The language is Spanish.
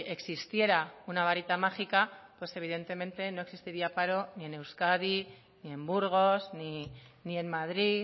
existiera una varita mágica pues evidentemente no existiría paro ni en euskadi ni en burgos ni en madrid